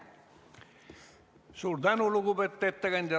Suur tänu, lugupeetud ettekandja!